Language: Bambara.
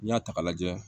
N'i y'a ta k'a lajɛ